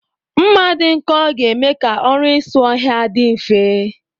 Mma dị nkọ ga-eme ka ọrụ isi ha ọhịa dị mfe